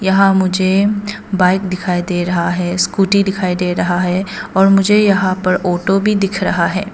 यहां मुझे बाइक दिखाई दे रहा है स्कूटी दिखाई दे रहा है और मुझे यहां पर ऑटो भी दिख रहा है।